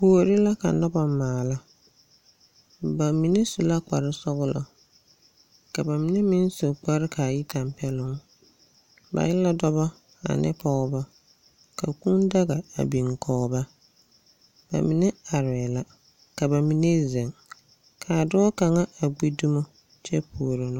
Kuori la ka noba maala. Ba mine su la kparesɔglɔ, ka ba mine meŋ su kpare ka a yi kampɛloŋ. Ba e la dɔbɔ ane pɔgebɔ, ka kũũ daga a biŋ kɔge ba. Ba mine arɛɛ la, ka ba mine zeŋ, ka a dɔɔ kaŋa a gbi dumo kyɛ puoro.